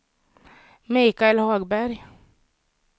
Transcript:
Michael Hagberg